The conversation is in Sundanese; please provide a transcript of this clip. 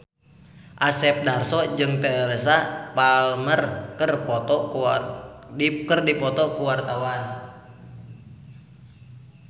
Asep Darso jeung Teresa Palmer keur dipoto ku wartawan